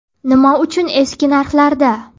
Nima uchun eski narxlarda?